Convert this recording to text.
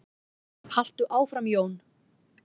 Haltu áfram Jón!